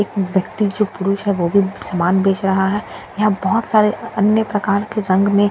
एक व्यक्ति जो पुरुष है वह भी सामान बेच रहा है यहां बहुत सारे अन्य प्रकार के रंग में --